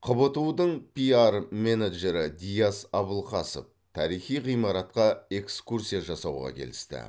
қбту дың пиар менеджері диас абылқасов тарихи ғимаратқа экскурсия жасауға келісті